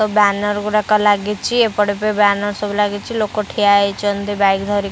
banner ଗୁଡାକ ଲାଗିଛି ଏପଟେ ବି ବ୍ୟାନର୍‌ ସବୁ ଲାଗିଛି ଲୋକ ଠିଆ ହେଇଛନ୍ତି ବାଇକ୍‌ ଧରିକି --